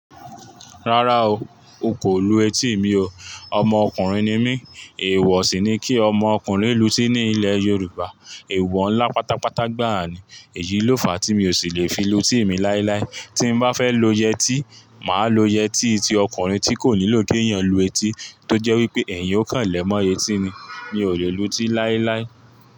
Rárá o, o kò lu etí mi o. Ọmọ ọkùnrin ni mí, èèwọ̀ sì ni kí ọmọ ọkùnrin lu etí ní ilẹ̀ Yorùbá. Èèwọ̀ ńlá pátápátá gbàá ni. Èyí ló fàá tí mi ò sì lè fi lu etí mi láíláí. Tí n bá fẹ́ lo yẹti, màá lo yẹti ti ọkùnrin tí kò nílò kí èèyàn lu etí, tó jẹ́ wípé ẹ̀yin o kàn lẹ́mọ́ etí ni. Mi ò lè lu etí láíláí.